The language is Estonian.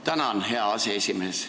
Tänan, hea aseesimees!